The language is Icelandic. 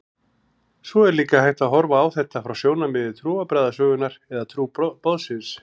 Svo er líka hægt að horfa á þetta frá sjónarmiði trúarbragðasögunnar eða trúboðsins.